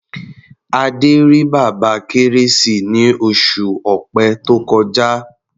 Adé rí Bàbá Kérésì ní oṣù Ọ̀pẹ tó kọjá.